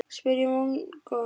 spyr ég vongóð.